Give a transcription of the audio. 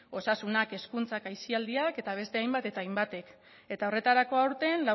osasunak hezkuntzak aisialdiak eta beste hainbat eta hainbatek eta horretarako aurten